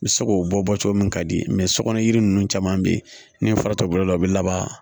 N bɛ se k'o bɔ bɔ cogo min ka di sokɔnɔ yiri ninnu caman bɛ ye ni fara t'o bolo la o bɛ laban